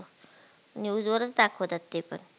news वरच दाखवतात ते प